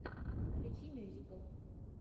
включи мюзикл